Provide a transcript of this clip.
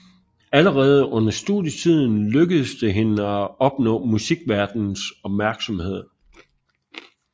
Allerede under studietiden lykkedes det hende at opnå musikverdenens opmærksomhed